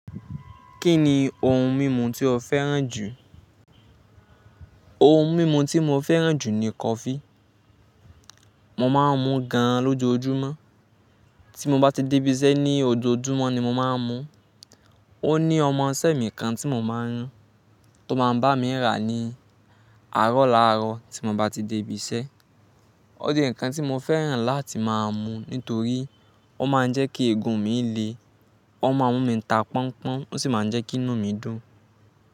Kí ni ohun mímu tí o fẹ́ràn jù? Ohun mímu tí mo fẹ́ràn jù ni coffee. Mo máa ń mu gan lójoójúmọ́. Tí mo bá ti débí iṣẹ́ ní ojoojúmọ́ ni mo máa ń mu. Ó ní ọmọ sẹ́ mì kan tí mo máa ń ran tó máa ń bá mi rà ní àárọ̀ láàárọ̀ tí mo bá ti débí iṣẹ́. Ó jẹ́ nǹkan tí mo fẹ́ràn láti máa mu nítorí ó máa ń jẹ́ kí ègún mi le, ó máa mú mi ta pọn pọ́n, ó sì máa ń jẹ́ kí inú mi dùn.